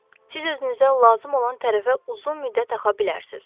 Siz özünüzə lazım olan tərəfə uzun müddət axa bilərsiz.